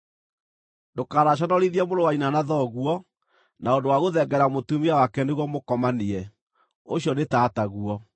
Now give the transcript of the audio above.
“ ‘Ndũkanaconorithie mũrũ wa nyina na thoguo, na ũndũ wa gũthengerera mũtumia wake nĩguo mũkomanie; ũcio nĩ tataguo.